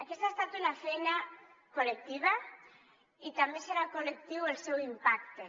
aquesta ha estat una feina col·lectiva i també serà col·lectiu el seu impacte